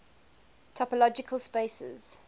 topological spaces